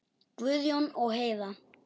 Guðjón og Heiða.